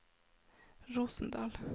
Rosendal